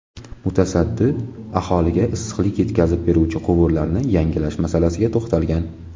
Mutasaddi aholiga issiqlik yetkazib beruvchi quvurlarni yangilash masalasiga to‘xtalgan.